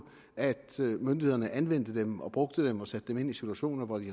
at myndighederne anvender dem og bruger dem og sætter dem ind i situationer hvor de